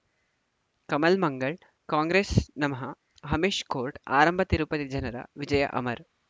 ಕಮಲ್ ಮಂಗಳ್ ಕಾಂಗ್ರೆಸ್ ನಮಃ ಅಮಿಷ್ ಕೋರ್ಟ್ ಆರಂಭ ತಿರುಪತಿ ಜನರ ವಿಜಯ ಅಮರ್